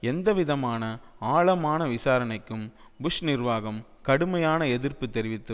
எந்தவிதமான ஆழமான விசாரணைக்கும் புஷ் நிர்வாகம் கடுமையான எதிர்ப்பு தெரிவித்து